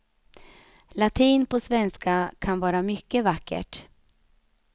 Latin på svenska kan vara mycket vackert.